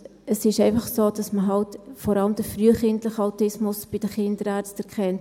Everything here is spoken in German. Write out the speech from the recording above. Es ist einfach so, dass man bei den Kinderärzten eben vor allem den frühkindlichen Autismus erkennt.